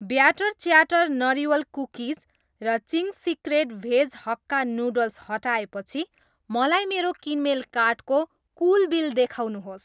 batter chatter नरिवल cookies र chips secret veg hakka noodles हटाएपछि मलाई मेरो किनमेल कार्टको कुल बिल देखाउनुहोस्